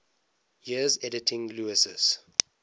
years editing lewes's